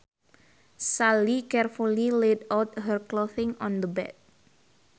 Sally carefully laid out her clothing on the bed